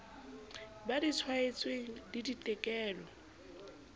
ba di tshwaetsweng le ditekolo